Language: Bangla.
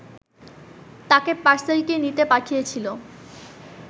তাকে পার্সেলটি নিতে পাঠিয়েছিল